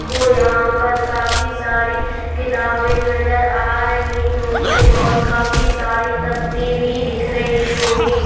को यहां पर काफी सारी किताबें नजर आ रही होंगी और काफी सारी दफ्ती भी दिख रही होंगी।